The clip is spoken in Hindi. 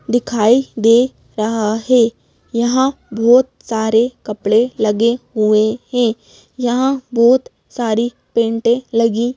दिखाई दे रहा है। यहां बहोत सारे कपड़े लगे हुए हैं यहां बहोत सारी पेटें लगी--